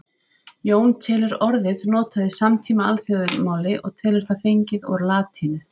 Jón telur orðið notað í samtíma alþýðumáli og telur það fengið úr latínu.